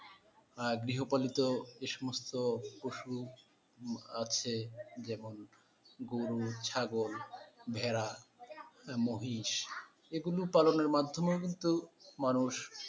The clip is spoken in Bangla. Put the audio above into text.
আর গৃহপালিত এই সমস্ত পশু আছে যেমন গরু, ছাগল, ভেড়া, না মহিষ এই গুলো পালনের মাধমেও কিন্তু মানুষ,